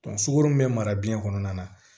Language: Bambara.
sukoro bɛ mara biyɛn kɔnɔna na